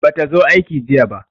Bata zo aiki jiya ba.